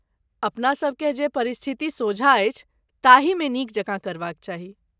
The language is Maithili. अपनासभकेँ जे परिस्थिति सोझाँ अछि ताही मे नीक जकाँ करबाक चाही।